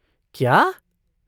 क्या!